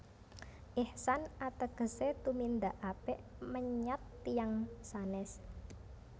Ihsan ategese tumindak apik menyat tiyang sanes